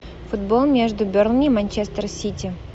футбол между бернли манчестер сити